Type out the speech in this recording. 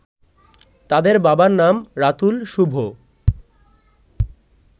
তাদের বাবার নাম রাতুল শুভ